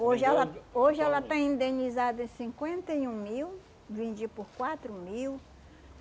Hoje ela hoje ela está indenizada em cinquenta e um mil, vendi por quatro mil.